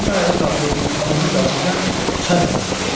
Mən də ayağa qalxıb atamın dalınca çay otağına keçdim.